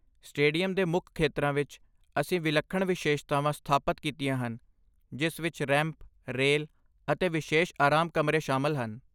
Stadium ਦੇ ਮੁੱਖ ਖੇਤਰਾਂ ਵਿੱਚ, ਅਸੀਂ ਵਿਲੱਖਣ ਵਿਸ਼ੇਸ਼ਤਾਵਾਂ ਸਥਾਪਤ ਕੀਤੀਆਂ ਹਨ, ਜਿਸ ਵਿੱਚ ਰੈਂਪ, ਰੇਲ ਅਤੇ ਵਿਸ਼ੇਸ਼ ਆਰਾਮ ਕਮਰੇ ਸ਼ਾਮਲ ਹਨ।